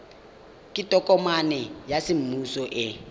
ke tokomane ya semmuso e